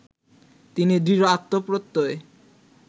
তিনি দৃঢ় আত্মপ্রত্যয়